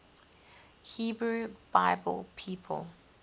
hebrew bible people